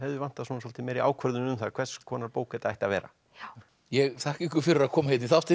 vantar svolítið meiri ákvörðun um það hvers konar bók þetta ætti að vera ég þakka ykkur fyrir að koma í þáttinn